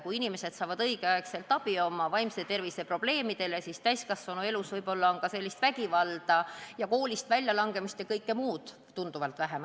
Kui inimesed saavad oma vaimse tervise probleemidele õigel ajal abi, siis võib-olla täiskasvanuelus on vägivalda, koolist väljalangemist ja kõike muud seesugust tunduvalt vähem.